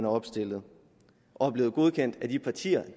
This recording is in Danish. opstillet og er blevet godkendt af de partier